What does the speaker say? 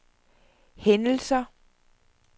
hændelser